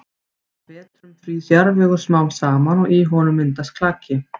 Á vetrum frýs jarðvegur smám saman og í honum myndast klaki.